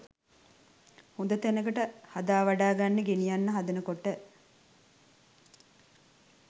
හොද තැනකට හදාවඩාගන්න ගෙනියන්න හදනකොට